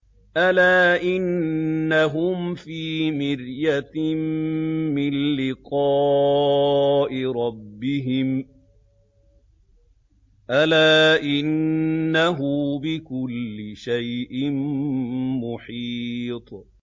أَلَا إِنَّهُمْ فِي مِرْيَةٍ مِّن لِّقَاءِ رَبِّهِمْ ۗ أَلَا إِنَّهُ بِكُلِّ شَيْءٍ مُّحِيطٌ